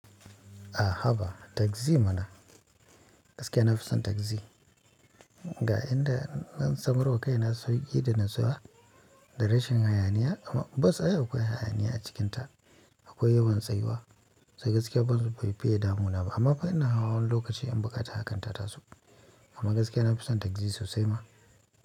A haba tagzi mana. Gaskiya na fi son tagzi. Ga inda zan samarwa kai na sauki da natsuwa da rashin hayaniya amma bas ai akwai hayaniya a cikinta. Akwai yawan tsayuwa sai gaskiya bas baifiye damu na ba amma fa ina hawa wani lokaci in buƙata hakan ta so. Amma gaskiya na fi son tagzi sosai ma.